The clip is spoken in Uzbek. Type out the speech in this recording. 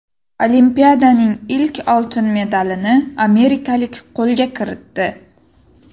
Olimpiadaning ilk oltin medalini amerikalik qo‘lga kiritdi.